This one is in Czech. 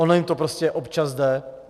Ono jim to prostě občas jde.